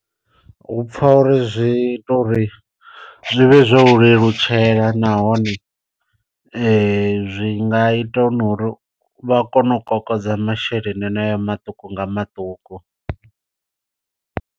Hu pfa uri zwi ita uri zwi vhe zwo u lelutshela nahone zwi nga ita na uri vha kone u kokodza masheleni haneyo maṱuku nga maṱuku.